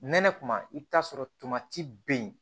Nɛnɛ kuma i bi t'a sɔrɔ tamati bɛ yen